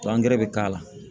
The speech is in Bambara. bɛ k'a la